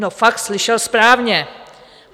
No fakt, slyšel správně.